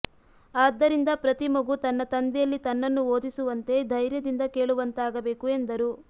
ಆದ್ದರಿಂದ ಪ್ರತಿ ಮಗು ತನ್ನ ತಂದೆಯಲ್ಲಿ ತನ್ನನ್ನು ಓದಿಸುವಂತೆ ಧೈರ್ಯದಿಂದ ಕೇಳುವಂತಾಗಬೇಕು ಎಂದರು